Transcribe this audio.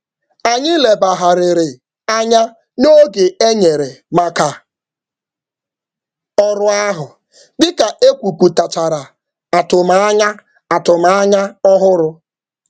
Anyị tụlere oge ọzọ ọnụ mgbe ekwuputara um atụmanya ọhụrụ.